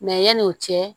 yanni o cɛ